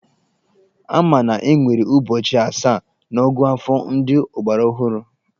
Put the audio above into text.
Ama na enwere ụbọchị asaa n'ọ̀gụ́àfọ̀ ndị ọgbaraọhụrụ.